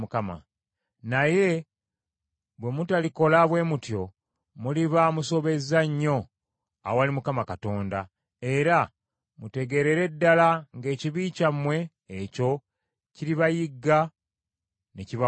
“Naye bwe mutalikola bwe mutyo, muliba musobezza nnyo awali Mukama Katonda, era mutegeerere ddala ng’ekibi kyammwe ekyo kiribayigga ne kibakwasa.